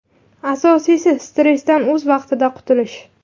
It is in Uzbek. Asosiysi, stressdan o‘z vaqtida qutulish.